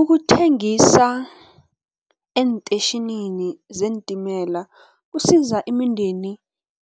Ukuthengisa eentetjhinini zeentimela kusiza imindeni